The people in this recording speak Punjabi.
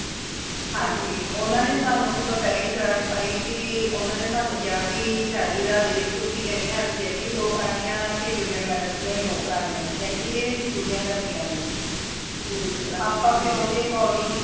ਹਾਂਜੀ ਓਨਾ ਨੇ ਸਾਨੂ ਜਿਦੋ ਪਹਿਲੀ grant ਪਾਈ ਤੇ ਓਨਾ ਨੇ ਸਾਨੂ ਕਿਆ ਭੀ ਛਿਆਲੀ ਹਜਾਰ ਦੇ ਵਿਚ ਤੁਸੀ ਯਾਨੀ health care ਦੀ ਵੀ ਦੋ ਕਰਾਨੀ ਹਾ ਤੇ beauty and balance ਦੀਆ ਵੀ ਦੋ ਕਰਨੀਆਂ ਨੇ ਯਾਨੀ ਇਦੇ ਵਿਚ ਦੋਨੋ ਪੂਰਿਆ ਕਰਨੀਆਂ ਨੇ ਆਪਾ ਫਿਰ ਉਦੇ according